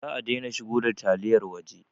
Za a daina shigo da taliyar waje